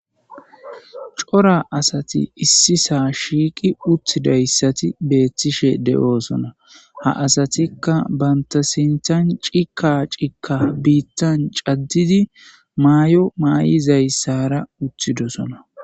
cora asati issi saa shiiqi uttidayssati beettishe de7oosona ha asatikka bantasintan cika cikka biittan caddidi maay7o maay7izayssara uttidosona